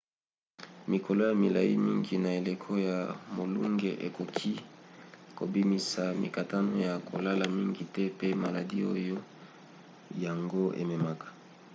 mikolo ya milai mingi na eleko ya molunge ekoki kobimisa mikakatano ya kolala mingi te pe maladi oyo yango ememaka